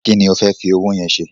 Kí ni o fẹ́ fi owó yẹn ṣe?